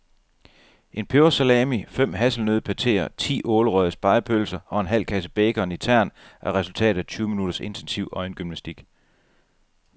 En pebersalami, fem hasselnøddepateer, ti ålerøgede spegepølser og en halv kasse bacon i tern er resultatet af tyve minutters intensiv øjengymnastik.